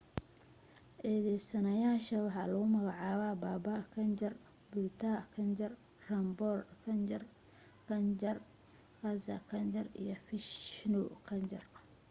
eedaysanayaasha waxa lagu magacaabaa baba kanjar bhutha kanjar, rampro kanjar, gaza kanjar iyo vishnu kanjar